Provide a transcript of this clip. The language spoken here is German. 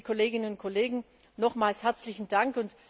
Liebe Kolleginnen und Kollegen, nochmals herzlichen Dank.